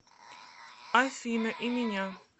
афина и меня